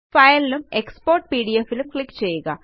file ഉം export PDFഉം click ചെയ്യുക